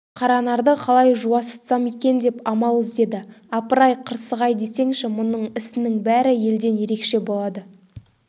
қаранарды қалай жуасытсам екен деп амал іздеді апыр-ай қырсық-ай десеңші мұның ісінің бәрі елден ерекше болады